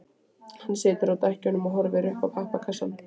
Hann situr á dekkjunum og horfir niður í pappakassann.